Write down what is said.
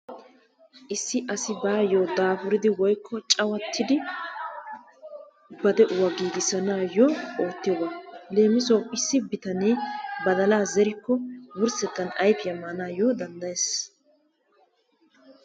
Issi asi baayyoo dapuridi woykko cawattidi ba de'uwaa giigissanayoo oottiyooba. Lemissuwaawu issi bitanee badalaa zerikko wurssetan ayfiyaa maanayoo danddayees.